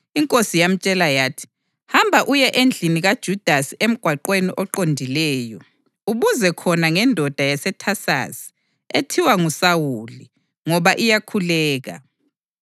INkosi yamtshela yathi, “Hamba uye endlini kaJudasi eMgwaqweni oQondileyo, ubuze khona ngendoda yaseThasasi ethiwa nguSawuli, ngoba iyakhuleka.